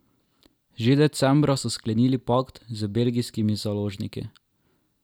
Že decembra so sklenili pakt z belgijskimi založniki.